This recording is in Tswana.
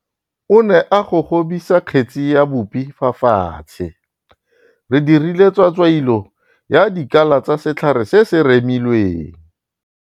O ne a gogobisa kgetsi ya bupi fa fatshe. Re dirile tswatswailo ya dikala tsa setlhare se se remilweng.